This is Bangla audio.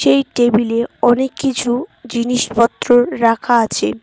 এই টেবিল -এ অনেককিছু জিনিসপত্র রাখা আছে।